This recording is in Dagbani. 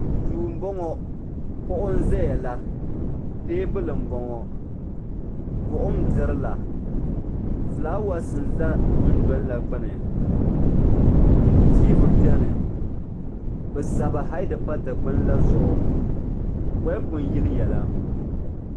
Duu m boŋɔ kuɣu n zaya la teebuli m boŋɔ buɣum n dirila filaawaasi n za dundolini la gbini tiivi biɛni bɛ sabi hayidi pa dikpini la maa zuɣu bolifu n yiliya la.